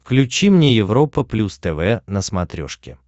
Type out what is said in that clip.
включи мне европа плюс тв на смотрешке